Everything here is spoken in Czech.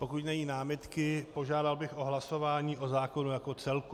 Pokud není námitka, požádal bych o hlasování o zákonu jako celku.